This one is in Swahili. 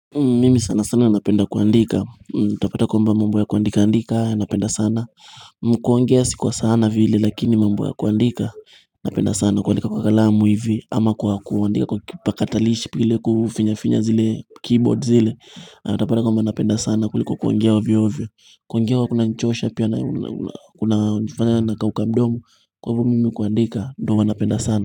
Mimi sana sana napenda kuandika, utapata kwamba mambo ya kuandika andika, napenda sana kuongea sikwa sana vile lakini mambo ya kuandika, napenda sana kuandika kwa kalamu hivi ama kwa kuandika kwa kipakatalishi pili kufinyafinya zile keyboard zile Utapata kwamba napenda sana kuliko kuongea ovyovyo kuongea huwa kuna nichosha pia na kufanya na kauka mdomo Kwa hivo mimi kuandika, ndo huwa napenda sana.